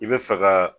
I bɛ fɛ ka